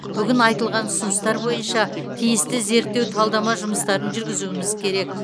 бүгін айтылған ұсыныстар бойынша тиісті зерттеу талдама жұмысын жүргізуіміз керек